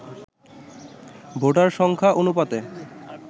voter সংখ্যা অনুপাতে